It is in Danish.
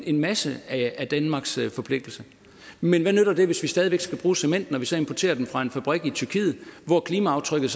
en masse af danmarks forpligtelser men hvad nytter det hvis vi stadig væk skal bruge cementen og vi så importerer den fra en fabrik i tyrkiet hvor klimaaftrykket